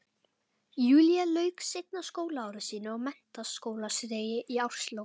Júlía lauk seinna skólaári sínu á menntaskólastigi í árslok